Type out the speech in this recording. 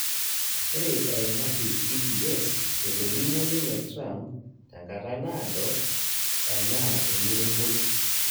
Ore eimaki CBS, etolimuo ninye Trump tenkata naado enaa emuremboi